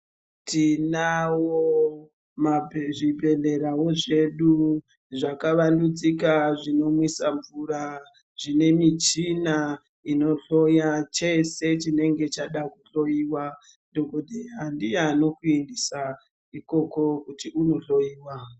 Tinawo zvibhedhlerawo zvedu zvakavandudzika zvinomwisa mvura zvine michina inohloya chese chinenge chada kuhloiwa dhokodheya ndiye anokuisa ikoko kuti unohloiwa.